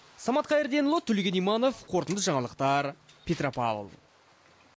самат қайырденұлы төлеген иманов қорытынды жаңалықтар петропавл